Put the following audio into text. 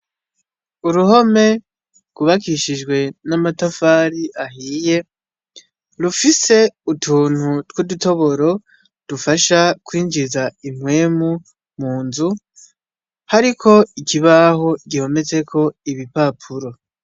Uruhome rwubakijwe n'amatafari ahiye rufise utuntu tw'udutoboro dufasha kwinjiza impwemu munzu hariko ikibaho gihometseko ibipapuro.